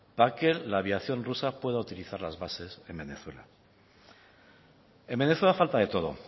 para que la aviación rusa pueda utilizar las bases en venezuela en venezuela falta de todo